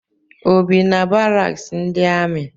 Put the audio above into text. O bi na baraks ndi ami?